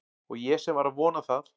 Og ég sem var að vona það